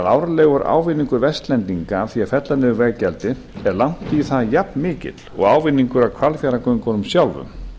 árlegur ávinningur vestlendinga af því að fella niður veggjaldið er langt í það jafnmikill og ávinningur af hvalfjarðargöngunum sjálfum